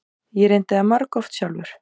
Ég reyndi það margoft sjálfur.